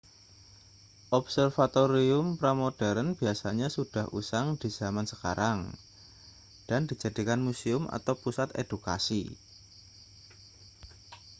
observatorium pramodern biasanya sudah usang di zaman sekarang dan dijadikan museum atau pusat edukasi